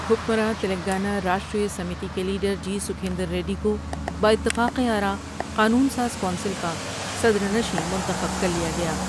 حکمراں تلنگانہ راشٹر سیمیتی کے لیڈر ہی سکھیند ریڈی کو بہ اتفاق آراء قانون ساز کونسل کا صدرنشین منتخب کر لیا گیا ۔